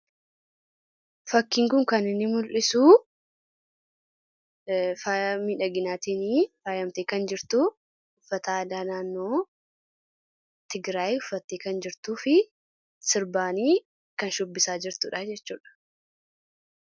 Fakkiin kun kan inni mul'isu faaya miidhaginaatiin faayamtee kan jirtu, uffata aadaa naannoo Tigiraayi uffattee kan jirtuu fi sirbaani kan shubbisaa jirtudha jechuudha.